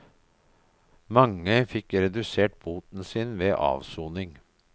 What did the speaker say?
Mange fikk redusert boten sin ved avsoning.